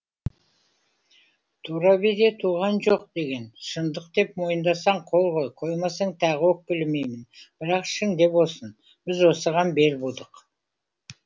тура биде туған жоқ деген шындық деп мойындасаң қол қой қоймасаң тағы өкпелемеймін бірақ ішіңде болсын біз осыған бел будық